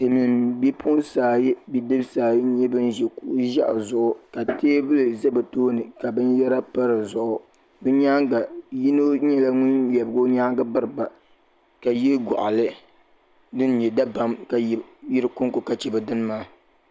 Silimiin bidibsi ayi ni bipuɣinsi ayi n ʒi kuɣu ʒee zuɣu ka teebuli za bɛ tooni ka binyera pa dizuɣu yino nyɛla ŋun lebigi o nyaanga biriba ka ye gɔɣali di be dabam ka yidiko ka che namnala maa .